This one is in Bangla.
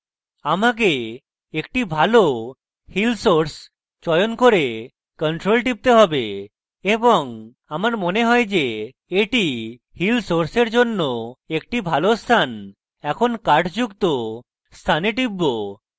আমাকে একটি ভালো heal source চয়ন করে ctrl টিপতে have এবং আমার মনে হয় যে এটি heal source এর জন্য একটি ভালো স্থান এবং এখন কাঠ যুক্ত স্থানে টিপব